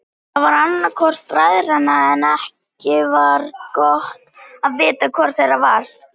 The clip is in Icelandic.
Það var annar hvor bræðranna en ekki var gott að vita hvor þeirra það var.